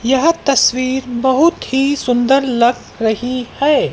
यह तस्वीर बहुत ही सुंदर लग रही है।